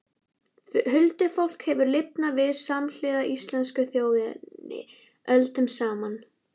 Huldufólk hefur lifað samhliða íslensku þjóðinni öldum saman.